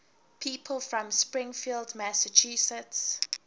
people from springfield massachusetts